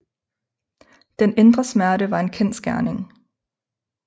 Den indre smerte var en kendsgerning